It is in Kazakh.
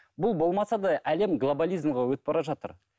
бұл болмаса да әлем глоболизмге өтіп бара жатыр